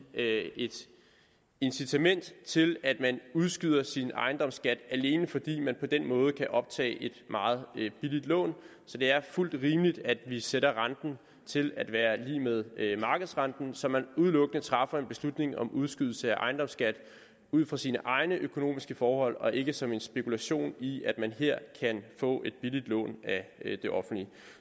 incitament til at man udskyder sin ejendomsskat alene fordi man på den måde kan optage et meget billigt lån så det er fuldt rimeligt at vi sætter renten til at være lig med markedsrenten så man udelukkende træffer en beslutning om udskydelse af ejendomsskat ud fra sine egne økonomiske forhold og ikke som en spekulation i at man her kan få et billigt lån af det offentlige